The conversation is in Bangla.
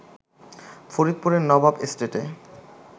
ফরিদপুরের নবাব এস্টেটে